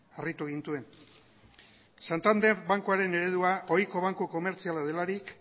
harritu gintuen santander bankuaren eredua ohiko banku komertziala delarik